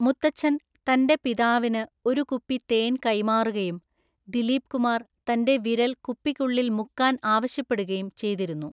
മുത്തച്ഛൻ തന്‍റെ പിതാവിന് ഒരു കുപ്പി തേൻ കൈമാറുകയും ദിലീപ് കുമാർ തന്‍റെ വിരൽ കുപ്പിക്കുള്ളിൽ മുക്കാൻ ആവശ്യപ്പെടുകയും ചെയ്തിരുന്നു.